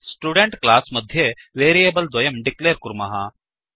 student class मध्ये variable द्वयं declare कुर्मः